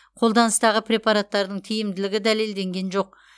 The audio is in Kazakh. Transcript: қолданыстағы препараттардың тиімділігі дәлелденген жоқ